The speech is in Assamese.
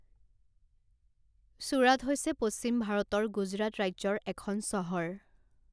ছুৰাট হৈছে পশ্চিম ভাৰতৰ গুজৰাট ৰাজ্যৰ এখন চহৰ।